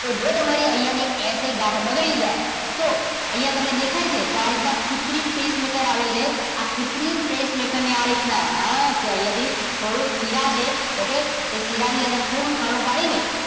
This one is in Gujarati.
તો જો તમારી અહીંયા ને એસ એ ગાંઠ બગડી જાય તો અહીંયા તમને દેખાય છે. તો આ રીતના કુત્રિમ pacemaker આવે છે. આ કુત્રિમ pacemaker ને આ રીતના હા કે અહીંયા થી શિરા છે. એ શીરાની અંદર કાણું પાડીને.